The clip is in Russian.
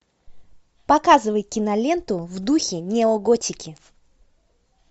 показывай киноленту в духе неоготики